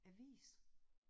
Avis